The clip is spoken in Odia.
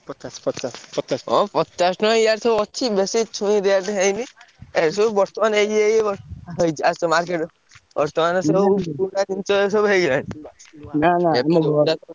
ପଚାଶ ପଚାଶ ପଚାଶ ଓ ପଚାଶ ଟଙ୍କା ଇଆଡେ ସବୁ ଅଛି। ବେଶୀ ଛୁଇଁ rate ହେଇନି। ଏଇ ସବୁ ବର୍ତ୍ତମାନ ହେଇଛି ଏଇ ଏଇ ହେଇଛି ଆସ market ବର୍ତ୍ତମାନ ସବୁ ସବୁ ହେଇଗଲାଣି।